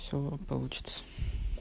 всё получится